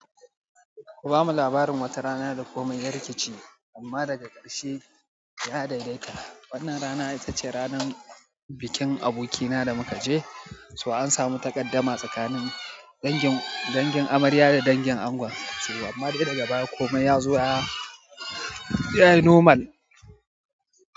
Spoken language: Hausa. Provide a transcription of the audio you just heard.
Ku ba mu labarin wata rana da komai ya rikici amma daga ƙarshe ya daidaita. Wannan rana ita ce ranar bikin abokina da muka je, so an samu takaddama tsakanin dangin, dangin amarya da dangin ango. Amma dai daga baya komai ya zo ya, yayi normal.